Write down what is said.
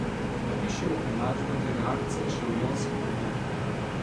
Napišimo enačbo te reakcije še v ionski obliki.